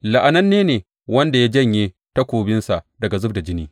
La’ananne ne wanda ya janye takobinsa daga zub da jini!